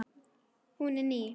Hún er ný.